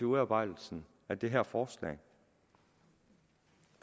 udarbejdelsen af det her forslag